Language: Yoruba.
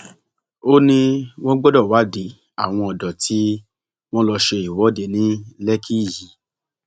ó ní wọn gbọdọ wádìí àwọn ọdọ tí wọn lọọ ṣe ìwọde ní lẹkìkí yìí